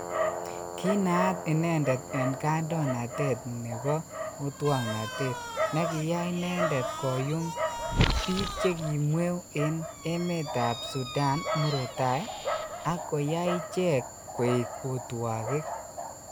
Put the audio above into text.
Kiinaat inendet en kaindoinatet nebo otwoknatet nekiyai inendet koyum bik chekimweu en emetab Sudan murot tai ak koyai ichekk koek otwogik.